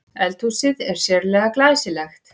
Eldhúsið er sérlega glæsilegt